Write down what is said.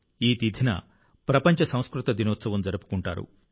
ఈ తిథిన ప్రపంచ సంస్కృత దినోత్సవం జరుపుకుంటారు